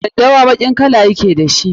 Daddawa baƙin kala ya ke da shi.